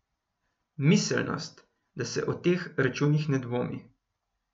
Miselnost, da se o teh računih ne dvomi.